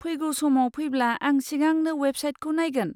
फैगौ समाव फैब्ला आं सिगांनो अवेबसाइटखौ नायगोन।